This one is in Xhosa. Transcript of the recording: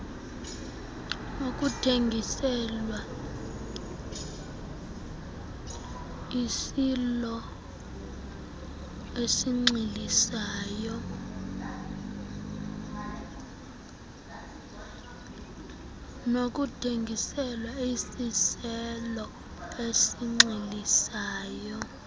nokuthengiselwa isiaelo esinxilisayo